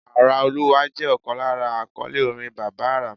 Ara Olúwa jẹ́ ọ̀kan lára àkọ́lé orin Bàbá àrà.